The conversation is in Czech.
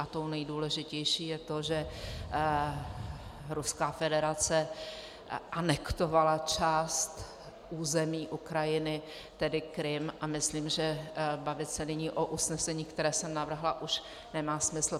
A tou nejdůležitější je to, že Ruská federace anektovala část území Ukrajiny, tedy Krym, a myslím, že bavit se nyní o usnesení, které jsem navrhla, už nemá smysl.